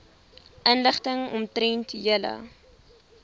inligting omtrent julle